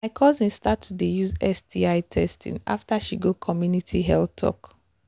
my cousin start to they use sti testing after she go community health talk